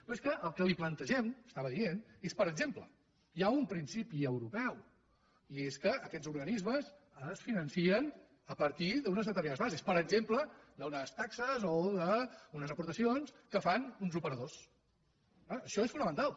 però és que el que li plantegem estava dient és per exemple hi ha un principi europeu i és que aquests or·ganismes ara es financen a partir d’unes determinades bases per exemple d’unes taxes o d’unes aportacions que fan uns operadors eh això és fonamental